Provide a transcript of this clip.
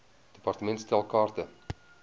department stel kaarte